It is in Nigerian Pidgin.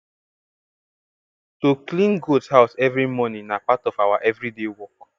to clean goat house every morning na part of our every day work